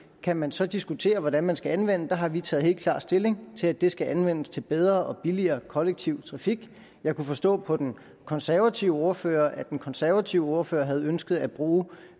kan man så diskutere hvordan man skal anvende der har vi taget helt klart stilling til at det skal anvendes til bedre og billigere kollektiv trafik jeg kunne forstå på den konservative ordfører at den konservative ordfører havde ønsket at bruge